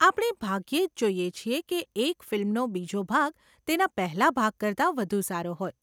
આપણે ભાગ્યે જ જોઈએ છીએ કે એક ફિલ્મનો બીજો ભાગ તેના પહેલાં ભાગ કરતાં વધુ સારો હોય.